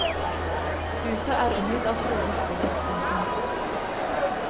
Huset er omgitt av frodig skog. punktum